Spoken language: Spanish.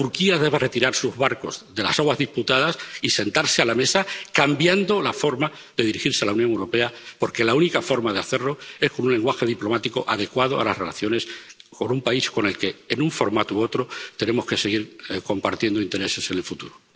Pero Turquía debe retirar sus barcos de las aguas disputadas y sentarse a la mesa, cambiando la forma de dirigirse a la Unión Europea, porque la única forma de hacerlo es con un lenguaje diplomático adecuado a las relaciones con un país con el que, en un formato u otro, tenemos que seguir compartiendo intereses en el futuro.